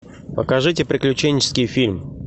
покажите приключенческий фильм